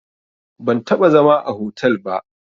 Ban taɓa zama a hotel ba